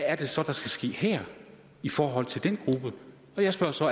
er det så der skal ske her i forhold til den gruppe jeg spørger så